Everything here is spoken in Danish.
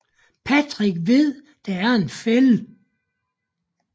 Patrick ved der er en fælde